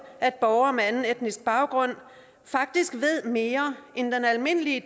at borgere med anden etnisk baggrund faktisk ved mere end den almindelige